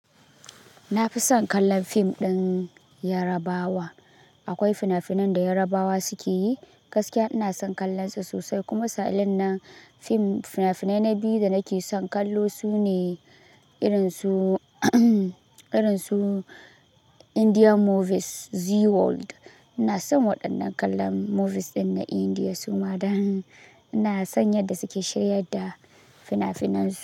Na fi son kallon fim ɗin Yarabawa. Akwai fina-finan da Yarabawa suke yi, gaskiya ina son kallon su sosai kuma misalin na fim, fina-finai na biyu da nake son kallo sune irin su, irin su Indian movies, Zee World. Ina son waɗannan kallon movies ɗin na India suma dan ina son yadda suke shiryar da fina-finan su.